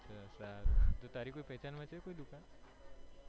સારું તારી કોઈ પેહચાન માં છે કોઈ દુકાન